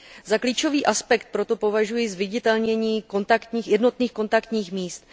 Za klíčový aspekt proto považuji zviditelnění jednotných kontaktních míst.